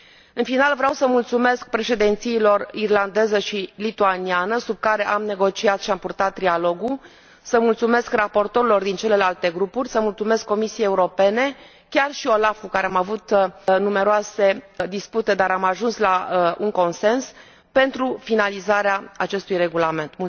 În final, vreau să mulțumesc președințiilor irlandeză și lituaniană, sub care am negociat și am purtat trilogul, să mulțumesc raportorilor din celelalte grupuri, să mulțumesc Comisiei Europene, chiar și OLAF, cu care am avut numeroase dispute, dar am ajuns la un consens, pentru finalizarea acestui regulament.